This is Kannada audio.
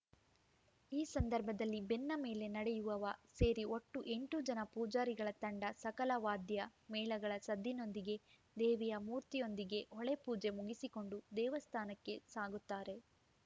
ಈ ಸಂದರ್ಭದಲ್ಲಿ ಬೆನ್ನ ಮೇಲೆ ನಡೆಯುವವ ಸೇರಿ ಒಟ್ಟು ಎಂಟು ಜನ ಪೂಜಾರಿಗಳ ತಂಡ ಸಕಲ ವಾದ್ಯ ಮೇಳಗಳ ಸದ್ದಿನೊಂದಿಗೆ ದೇವಿಯ ಮೂರ್ತಿಯೊಂದಿಗೆ ಹೊಳೆ ಪೂಜೆ ಮುಗಿಸಿಕೊಂಡು ದೇವಸ್ಥಾನಕ್ಕೆ ಸಾಗುತ್ತಾರೆ